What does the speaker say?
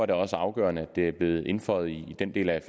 det også afgørende at det er blevet indføjet i den del af